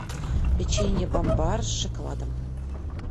печенье бомбар с шоколадом